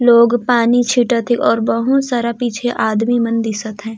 लोग पानी छिंटत हे और बहुत सारा पीछे आदमी मन दिशोत अहय।